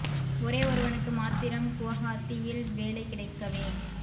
ஒரே ஒருவனுக்கு மாத்திரம் குவஹாத்தியில் வேலை கிடைக்கவே